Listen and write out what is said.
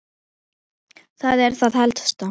Það er það helsta.